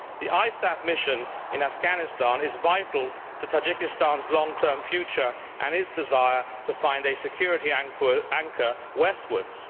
The ISAF mission in Afghanistan is vital to Tajikistan's long term future and its desire to find a security anchor westwards.